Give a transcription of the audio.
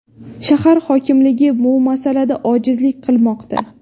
Shahar hokimligi bu masalada ojizlik qilmoqda.